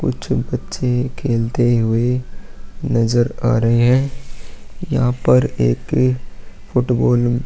कुछ बच्चे खेलते हुए नजर आ रहै है यहाँ पर एक फुटबॉल --